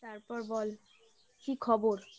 তারপর বল কি খবর